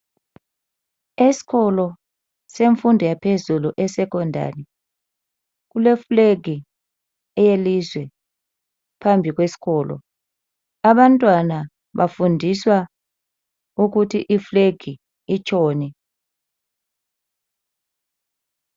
Esikolo semfundo yaphezulu e secondary kule flag eyelizwe phambi kwesikolo. Abantwana bafundiswa ukuthi i flag itshoni.